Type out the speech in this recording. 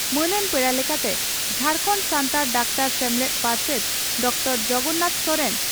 ᱢᱟᱹᱱᱟᱱ ᱯᱮᱲᱟ ᱞᱮᱠᱟᱛᱮ ᱡᱷᱟᱨᱠᱟᱱᱰ ᱥᱟᱱᱛᱟᱲ ᱰᱟᱠᱛᱟᱨ ᱥᱮᱢᱞᱮᱫ ᱯᱟᱨᱥᱮᱛ ᱰᱨᱹ ᱡᱚᱜᱚᱱᱱᱟᱛᱷ ᱥᱚᱨᱮᱱ